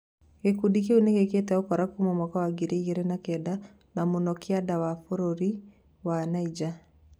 Gĩkundi kĩu nĩ gĩkĩĩte ũkora kuuma mwaka wa ngiri igĩrĩ na kenda, na mũno kĩanda wa bũrũri wa Nainja.